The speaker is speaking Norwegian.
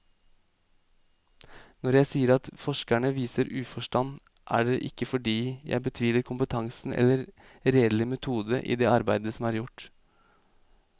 Når jeg sier at forskerne viser uforstand, er det ikke fordi jeg betviler kompetansen eller redelig metode i det arbeid som er gjort.